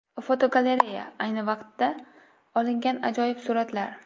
Fotogalereya: Ayni vaqtida olingan ajoyib suratlar.